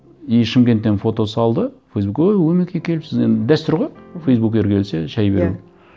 и шымкенттен фото салды өй өмеке келіпсіз енді дәстүр ғой мхм фейсбукер келсе шәй беру иә